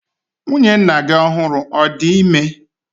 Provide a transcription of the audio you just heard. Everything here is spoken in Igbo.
Nwunye nna gi ọhụrụ ọ̀ di ime?